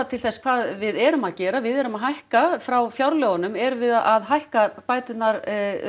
til þess hvað við erum að gera við erum að hækka frá fjárlögunum erum við að hækka bæturnar